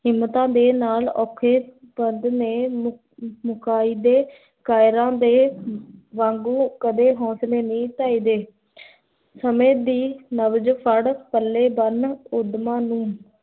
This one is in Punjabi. ਹਿਮਤਾਂ ਦੀ ਨਾਲ, ਔਖੇ ਦੇ ਵਾਂਗੂ ਕਦੀ ਹੋਂਸਲੇ ਨਈ ਢਾਈ ਦੀ ਸਮੈ ਦੀ, ਨਵਜ਼ ਫਡ, ਪੱਲੇ ਬੰਨ, ਉਦਮਾਂ ਨੂੰ